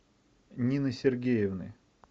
нины сергеевны